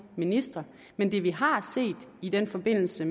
ministre men det vi har set i den forbindelse